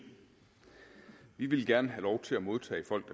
vi ville gerne have lov til at modtage folk